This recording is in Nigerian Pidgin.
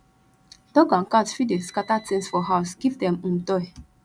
dog and cat fit dey scatter things for house give dem um toy